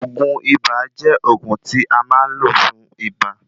Oògùn ibà jẹ́ òògun tí a máa ń lò fún ibà